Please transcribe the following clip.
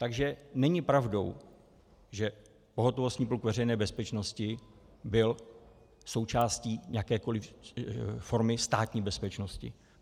Takže není pravdou, že pohotovostní pluk Veřejné bezpečnosti byl součástí jakékoliv formy Státní bezpečnosti.